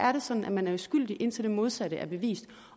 er det sådan at man er uskyldig indtil det modsatte er bevist